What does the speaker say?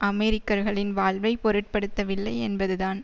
அமெரிக்கர்களின் வாழ்வை பொருட்படுத்தவில்லை என்பதுதான்